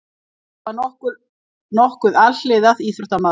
Ég var nokkuð alhliða íþróttamaður.